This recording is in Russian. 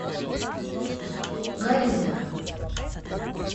горилла